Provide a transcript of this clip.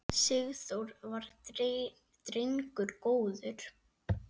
Sigþór var drengur góður.